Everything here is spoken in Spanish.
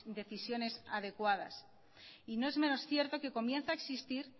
decisiones adecuadas y no es menos cierto que comienzan a existir